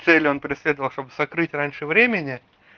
цели он преследовал чтобы закрыть раньше времени